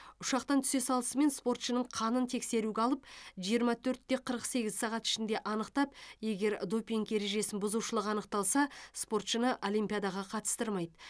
ұшақтан түсе салысымен спортшының қанын тексеруге алып жиырма төрт те қырық сегіз сағат ішінде анықтап егер допинг ережесін бұзушылық анықталса спортшыны олимпиадаға қатыстырмайды